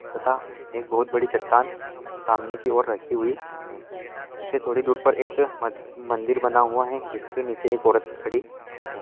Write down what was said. तथा एक बहुत बड़ी चटान सामने की और रखी हुई है इससे थोड़ी दूर पर एक ऊपर एक मदिर बना हुआ है जिसके नीचे एक ओरत खड़ी है।